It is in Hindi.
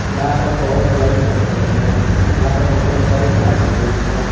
यहां पर बहोत सारी पत्थरें हैं यहां पर बहोत सारी घास फूस है।